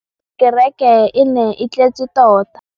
kêrêkê e ne e tletse tota.